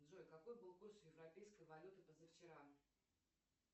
джой какой был курс европейской валюты позавчера